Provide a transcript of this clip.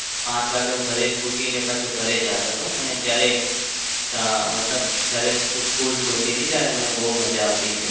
પાંચ વાગે હું ઘરે છૂટીને પાછો ઘરે જાતો હતો. મને ત્યારે મતલબ જયારે school છૂટતી હતી ત્યારે બહુ મજા આવતી હતી.